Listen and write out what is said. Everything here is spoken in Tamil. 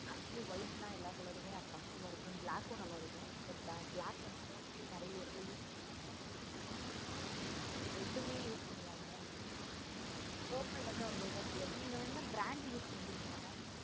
actually white நா எல்லா color ஹம் attractive ஆஹ் இருக்கும். but black ஹம் நல்ல இருக்கும். okay but black வந்து mostly எல்லா எடத்துலையும் use பண்ணுவாங்க. red டுமே use பண்ணுவாங்க. ஹம் purple வந்து அவ்வளோ இத தெரியாது. நீங்க வேணா brand use பண்ணிக்கிறிங்களா mam